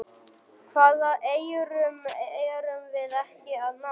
Hvaða eyrum erum við ekki að ná?